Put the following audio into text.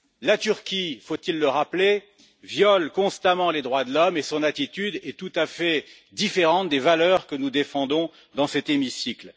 La Turquie faut il le rappeler viole constamment les droits de l'homme et son attitude est tout à fait différente des valeurs que nous défendons dans cet hémicycle.